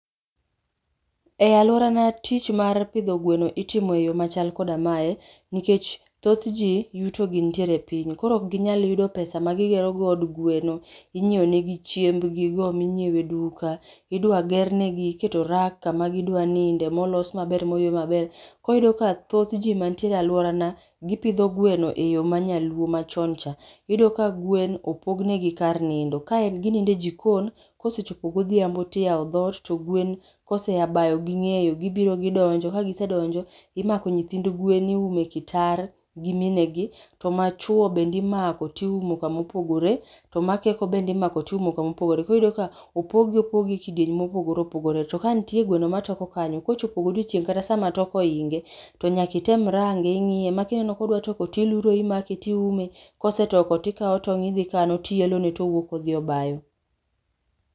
E alworana tich mar pidho gweno itimo e yoo machal koda mae, nkech thoth jii yuto gi ntiere piny, koro okginyal yudo pesa magigero godo od gweno, inyieo negi chiembgigo minyiewe duka, idwagernegi, iketo rak kama gidwa ninde, molos maber moywe maber. Koro iyudo ka thoth jii mantiere e alworana, gipidho gweno e yoo manyaluo machon cha. Iyudo ka gwen opognegi kar nindo, kaen ginindo e jikon, kosechopo godhiambo tiyao dhot, to gwen kosea bayo ging'eyo, gibiro gidonjo, kagisedonjo, imako nythind gwen iume kitar gi mine gi, to machwo bende imako tiumo kama opogore, to makeko bende imako tiumo kama opogore. Koro iyudo ka opog gi opog gi e kidienje mopogore opogore. To ka ntie gweno matoko kanyo, kochopo godiochieng' kata sama toko oinge, to nyaki tem range ing'ie ma kineno kodwa toko tiluro imake tiume, kose toko tikao tong' idhi kano, tiyelone towuok odhi obayo.